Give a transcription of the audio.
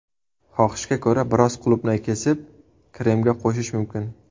Xohishga ko‘ra, biroz qulupnay kesib, kremga qo‘shish mumkin.